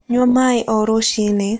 Nyua maĩ o rũcĩĩnĩ